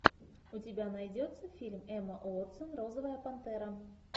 у тебя найдется фильм эмма уотсон розовая пантера